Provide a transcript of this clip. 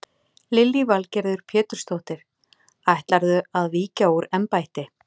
Lillý Valgerður Pétursdóttir: Ætlarðu að víkja úr embætti?